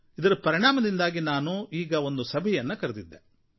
ಇದರ ಪರಿಣಾಮದಿಂದಾಗಿ ನಾನು ಈಗ ಒಂದು ಸಭೆಯನ್ನು ಕರೆದಿದ್ದೆ